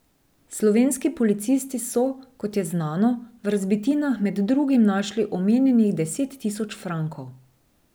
Slovenski policisti so, kot je znano, v razbitinah med drugim našli omenjenih deset tisoč frankov.